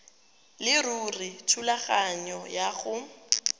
leruri thulaganyo ya go